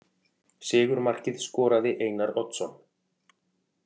Sigurmarkið skoraði Einar Oddsson.